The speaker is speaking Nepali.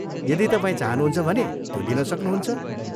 यदि तपाईँ चाहनुहुन्छ भने त्यो लिन सक्नुहुन्छ।